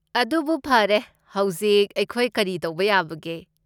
ꯑꯗꯨꯕꯨ ꯐꯔꯦ, ꯍꯧꯖꯤꯛ ꯑꯩꯈꯣꯏ ꯀꯔꯤ ꯇꯧꯕ ꯌꯥꯕꯒꯦ?